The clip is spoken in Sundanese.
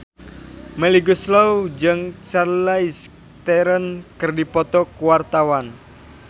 Melly Goeslaw jeung Charlize Theron keur dipoto ku wartawan